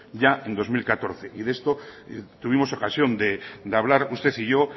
ya en dos mil catorce y de esto tuvimos ocasión de hablar usted y yo